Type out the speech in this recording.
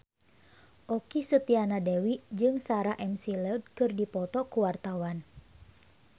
Okky Setiana Dewi jeung Sarah McLeod keur dipoto ku wartawan